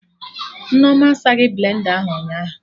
Nneoma asaghị blenda ahụ ụnyaahụ